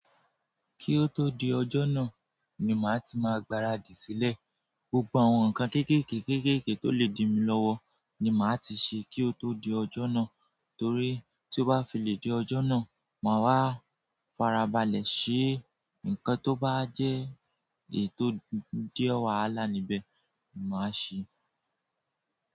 Kí o tó di ọjọ́ náà ni màá ti máa gbaradì sílẹ̀. Gbogbo àwọn nǹkan kéékèèké kéékèèké tó lè di mi lọ́wọ́ ni màá ti ṣe kí ó tó di ọjọ́ náà torí tí ó bá fi lè di ọjọ́ náà, màá wá farabalẹ̀ ṣe nǹkan tó bá jẹ́ ètò díẹ̀ wàhálà níbẹ̀ ni màá ṣe.